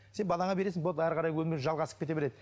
сен балаңа бересің болды әрі қарай өмір жалғасып кете береді